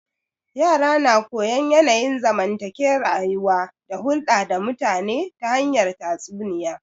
Yara na koyon yanayin zamantake rayuwa da hulda da mutane ta hanyar tatsuniya